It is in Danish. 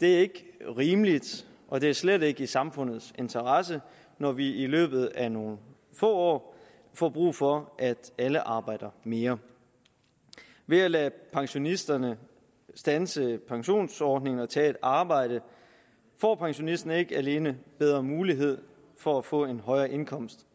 det er ikke rimeligt og det er slet ikke i samfundets interesse når vi i løbet af nogle få år får brug for at alle arbejder mere ved at lade pensionisterne standse pensionsordninger og tage et arbejde får pensionisterne ikke alene bedre mulighed for at få en højere indkomst